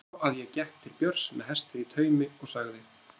Svo að ég gekk til Björns með hestinn í taumi og sagði